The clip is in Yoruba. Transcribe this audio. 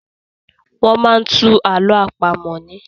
Wọ́n máa ń tú àlọ àpamọ̀ ni.